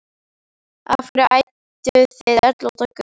Af hverju ædduð þið öll út á götu?